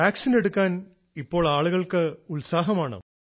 vaccine എടുക്കാൻ ഇപ്പോൾ ആളുകൾക്ക് ഉത്സാഹമാണോ